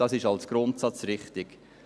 Das ist als Grundsatz richtig.